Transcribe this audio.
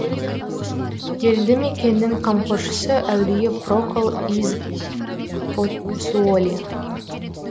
елді мекеннің қамқоршысы әулие прокл из поццуоли